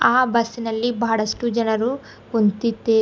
ಆ ಬಸ್ಸಿನಲ್ಲಿ ಬಹಳಷ್ಟು ಜನರು ಕುಂತ್ತಿದ್ದೆ--